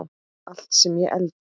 Allt sem ég elda.